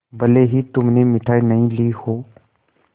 भले ही तुमने मिठाई नहीं ली हो